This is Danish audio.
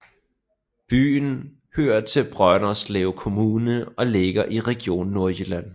Byen hører til Brønderslev Kommune og ligger i Region Nordjylland